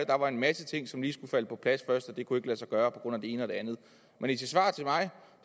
der var en masse ting som lige skulle falde på plads først og det kunne ikke lade sig gøre på grund af det ene og det andet men i sit svar til mig